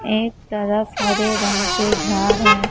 एक तरफ हरे रंग के झाड़ हैं।